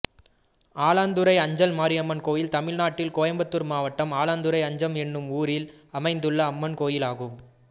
ஆலாந்துறை அஞ்சல் மாரியம்மன் கோயில் தமிழ்நாட்டில் கோயம்புத்தூர் மாவட்டம் ஆலாந்துறை அஞ்சல் என்னும் ஊரில் அமைந்துள்ள அம்மன் கோயிலாகும்